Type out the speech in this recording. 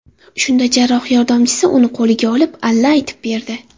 Shunda jarroh yordamchisi uni qo‘liga olib, alla aytib berdi.